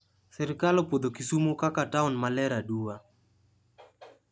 Sirkal opuodho kisumo koka taon maler aduwa